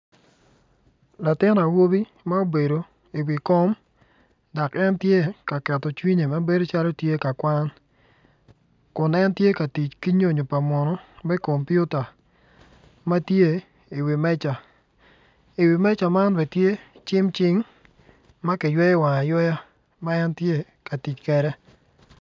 Latin awobi ma obedo i wi kom dok tye ka keto cwinye dok bedo calo tye ka kwano. kun en tye ka tic ki nyonyo pa muno ma kilwongo ni kompiuta ma tye i wi meja.